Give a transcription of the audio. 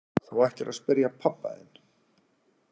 Þú ættir að spyrja pabba þinn.